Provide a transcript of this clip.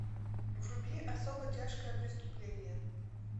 вруби особо тяжкое преступление